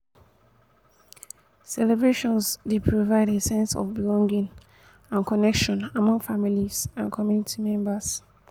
celebrations dey provide a sense of belonging and connection among family and community members.